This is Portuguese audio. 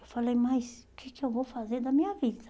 Eu falei, mas o que que eu vou fazer da minha vida?